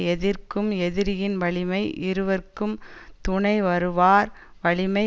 எதிர்க்கும் எதிரியின் வலிமை இருவர்க்கும் துணை வருவார் வலிமை